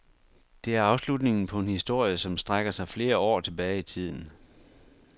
Det er afslutningen på en historie, som strækker sig flere år tilbage i tiden.